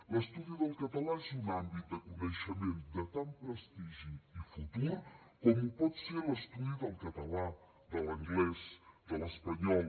l’estudi del català és un àmbit de coneixement de tant prestigi i futur com ho pot ser l’estudi del català de l’anglès de l’espanyol